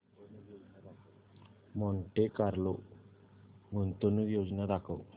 Monte Carlo गुंतवणूक योजना दाखव